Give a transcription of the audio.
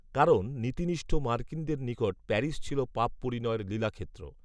কারণ নীতিনিষ্ঠ মার্কিনদের নিকট প্যারিস ছিল পাপ পরিণয়ের লীলাক্ষেত্র